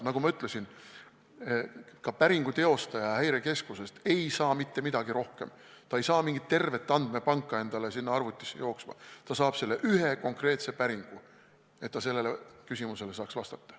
Nagu ma ütlesin, ka päringu teostaja Häirekeskusest ei saa teada mitte midagi rohkem, st ta ei saa tervet andmepanka endale sinna arvutisse jooksma, vaid ta saab teha ühe konkreetse päringu, et saaks küsimusele vastata.